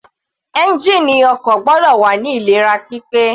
Ẹ́ngìnì ọkọ̀ gbọ́dọ̀ wà ní ìlera pípé.